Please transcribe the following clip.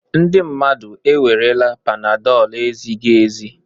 Ndị mmadụ ewerela panadol ezighi ezi